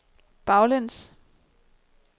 baglæns